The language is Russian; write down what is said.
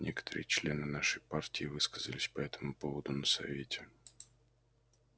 некоторые члены нашей партии высказались по этому поводу на совете